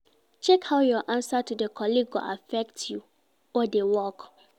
Check how your answer to di colleague go affect you or di work